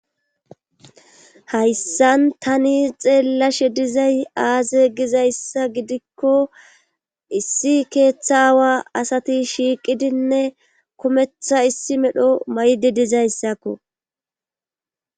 hayssan tani xeellashe dizay aaze gizayssa gidikko issi keeththawa asati shiiqidinne kometha issi medho maydi dizayssakko